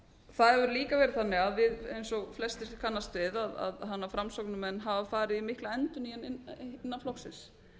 það hefur líka verið þannig eins og flestir kannast við að framsóknarmenn hafa farið í mikla endurnýjun innan flokksins